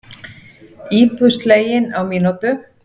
Íbúð slegin á mínútu